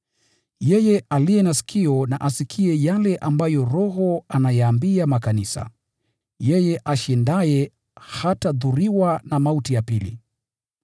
“Yeye aliye na sikio na asikie yale ambayo Roho ayaambia makanisa. Yeye ashindaye hatadhuriwa kamwe na mauti ya pili.